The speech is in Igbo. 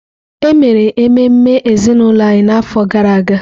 E mere ememe ezinụlọ anyị n’afọ gara aga.